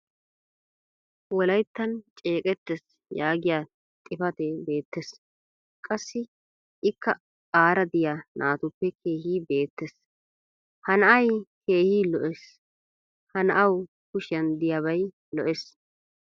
wolayttan ceeqqeettees yaagiya xifatee beetees. qassi ikka aara diya naatuppe keehi beetees. ha na'ay keehi lo'ees. ha na'aa kushiyan diyabay lo'ees.